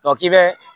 k'i bɛ